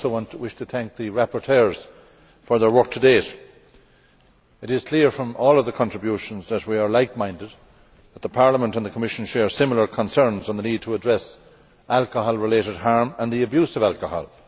I also wish to thank the rapporteurs for their work to date. It is clear from all of the contributions that we are like minded, and that Parliament and the Commission share similar concerns on the need to address alcohol related harm and the abuse of alcohol.